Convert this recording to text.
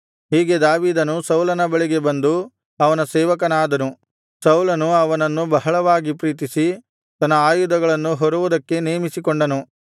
ಹೀಗೆ ದಾವೀದನು ಸೌಲನ ಬಳಿಗೆ ಬಂದು ಅವನ ಸೇವಕನಾದನು ಸೌಲನು ಅವನನ್ನು ಬಹಳವಾಗಿ ಪ್ರೀತಿಸಿ ತನ್ನ ಆಯುಧಗಳನ್ನು ಹೊರುವುದಕ್ಕೆ ನೇಮಿಸಿಕೊಂಡನು